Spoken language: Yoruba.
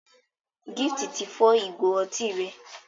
Gift tí fọ Ìgò otí rẹ.